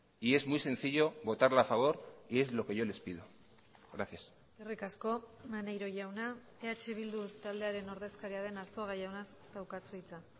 y es muy sencillo votarla a favor y es lo que yo les pido gracias eskerrik asko maneiro jauna eh bildu taldearen ordezkaria den arzuaga jauna daukazu hitza